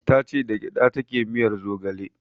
Tace ita da gyaɗa take miyar zogale